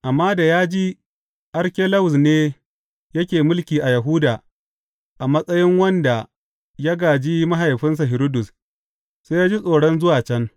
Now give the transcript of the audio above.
Amma da ya ji Arkelawus ne yake mulki a Yahudiya a matsayin wanda ya gāji mahaifinsa Hiridus, sai ya ji tsoron zuwa can.